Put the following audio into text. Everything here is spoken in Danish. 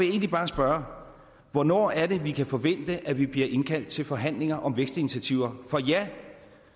egentlig bare spørge hvornår er det vi kan forvente at vi bliver indkaldt til forhandlinger om vækstinitiativer for ja